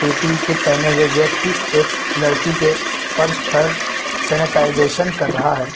Kit पहने हुए व्यक्ति एक लड़की के पर्स पर सैनिटाइजेशन कर रहा है।